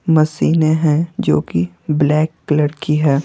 Machine ए हैं जो कि ब्लैक कलर की है।